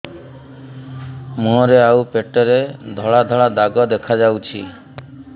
ମୁହଁରେ ଆଉ ପେଟରେ ଧଳା ଧଳା ଦାଗ ଦେଖାଯାଉଛି